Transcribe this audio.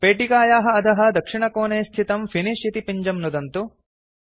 पेटिकायाः अधः दक्षिणकोणे स्थितं फिनिश इति पिञ्जं नुदन्तु